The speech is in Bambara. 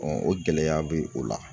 o gɛlɛya bɛ o la